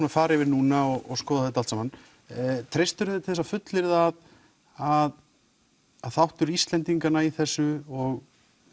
fara yfir núna og skoða þetta allt saman treystir þú þér til þess að fullyrða að þáttur Íslendinganna í þessu og